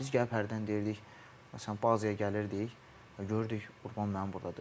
Biz gəlib belədən deyirdik, məsələn bazaya gəlirdik, görürdük Qurban müəllim burdadır.